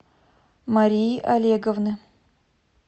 марии олеговны